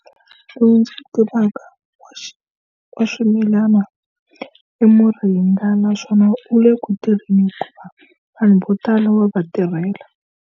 Lowu ndzi wu tivaka wa wa swimilana i muringa, naswona u le ku tirheni hikuva vanhu vo tala wa va tirhela.